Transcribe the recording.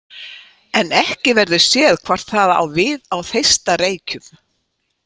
En ekki verður séð hvort það á við á Þeistareykjum.